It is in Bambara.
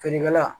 Finiŋala